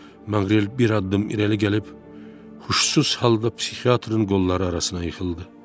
Manqrel bir addım irəli gəlib, huşsuz halda psixiatrın qolları arasına yıxıldı.